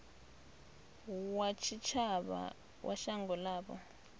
wa tshitshavha wa shango ḽavho